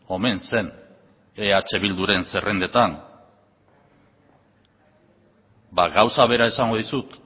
omen zen eh bilduren zerrendetan ba gauza bera esango dizut